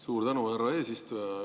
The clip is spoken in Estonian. Suur tänu, härra eesistuja!